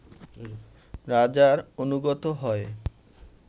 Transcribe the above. রাজার অনুগত হয়ে